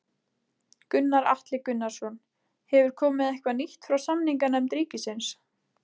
Gunnar Atli Gunnarsson: Hefur komið eitthvað nýtt frá samninganefnd ríkisins?